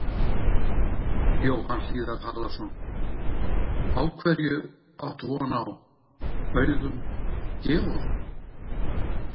Jóhann Hlíðar Harðarson: Á hverju átt von á, Auðun Georg?